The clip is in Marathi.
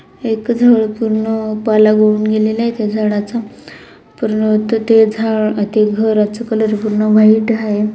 एक जळ पूर्ण पाला गळून त्या झाडाचा परंतू ते झाड आ ते घराचं कलर पूर्ण व्हाइट आहे.